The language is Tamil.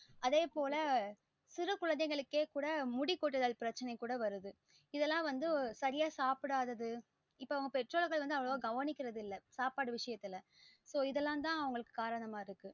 அதே போல சிறு குழந்தைகளுக்கே கூட முடி கொட்டுதல் பிரச்சனை கூட வருது இதலாம் வந்து சரியா சாப்டாதது இப்ப அவங்க பெற்றோர்கள் வந்து ஒழுங்கா கவனிக்குறது இல்ல சாப்பாடு விசைய்ததுல இப்ப இது எல்லாம் தான் காரணமா இருக்கு